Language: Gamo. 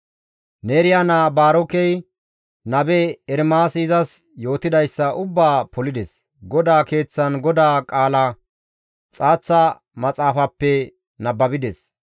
Neeriya naa Baarokey nabe Ermaasi izas yootidayssa ubbaa polides; GODAA Keeththan GODAA qaala xaaththa maxaafappe nababides.